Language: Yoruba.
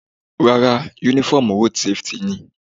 Rárá, uniform road safety ni.